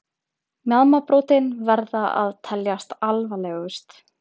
Mjaðmarbrotin verða að teljast alvarlegust.